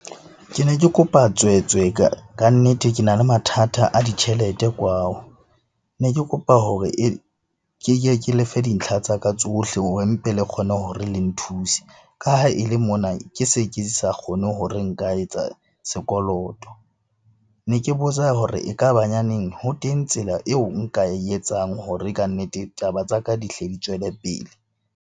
Ke ne ke kopa tswetswe kannete, ke na le mathata a ditjhelete kwao. Ne ke kopa hore keke ke lefe dintlha tsa ka tsohle hore mpe le kgone hore le nthuse ka ha e le mona ke se ke sa kgone hore nka etsa sekoloto. Ne ke botsa hore e ka ba nyaneng ho teng tsela eo nka e etsang hore kannete taba tsa ka di hle di tswele pele.